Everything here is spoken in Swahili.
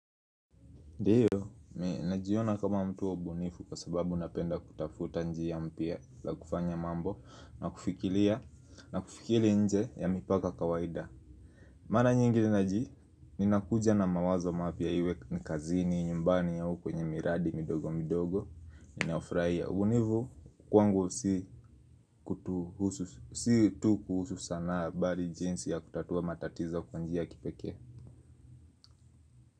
Ndiyo, najiona kama mtu mbunifu kwasababu napenda kutafuta njia mpya la kufanya mambo na kufikiria na kufikiri nje ya mipaka kawaida. Mara nyingi naji, ninakuja na mawazo mapya iwe kazini, nyumbani au kwenye miradi midogo midogo ninafurahia. Ubunifu kwangu si kutuhusu, si tu kuhusu sanaa bali jinsi ya kutatua matatizo kwa njia ya kipekee.